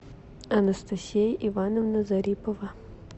анастасия ивановна зарипова